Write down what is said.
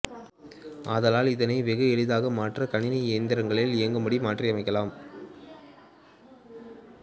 ஆதலால் இதனை வெகு எளிதாக மற்ற கணினி இயந்திரங்களில் இயங்கும்படி மாற்றியமைக்கலாம்